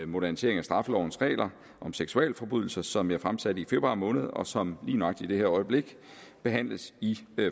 modernisering af straffelovens regler om seksualforbrydelser som jeg fremsatte i februar måned og som lige nøjagtig i det her øjeblik behandles i